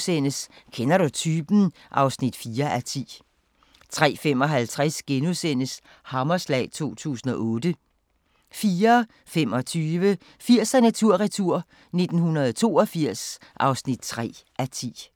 03:10: Kender du typen? (4:10)* 03:55: Hammerslag 2008 * 04:25: 80'erne tur-retur: 1982 (3:10)